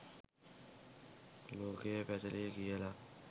ලෝකය පැතලියි කියල